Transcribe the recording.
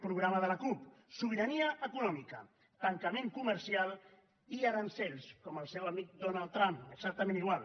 programa de la cup sobirania econòmica tancament comercial i aranzels com el seu amic donald trump exactament igual